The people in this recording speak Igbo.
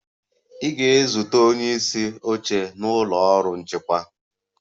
Ị ga-ezute onye isi oche na ụlọ ọrụ nchịkwa.